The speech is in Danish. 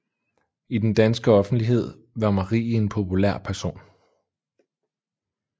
I den danske offentlighed var Marie en populær person